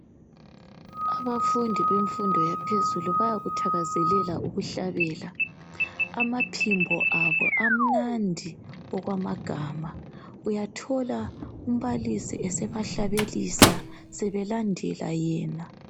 Abafundi bemfundo yaphezulu bayakuthakazelela ukuhlabela amaphimbo abo amnandi okwamagama uyathola umbalisi esebahlabelise sebelandela yena.